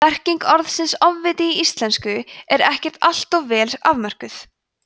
merking orðsins „ofviti í íslensku er ekkert alltof vel afmörkuð